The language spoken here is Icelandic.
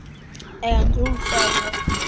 En þú sagðir.